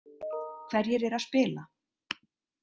Hverjir eru að spila